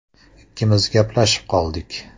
Ikkimiz gaplashib qoldik.